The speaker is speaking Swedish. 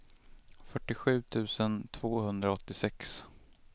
fyrtiosju tusen tvåhundraåttiosex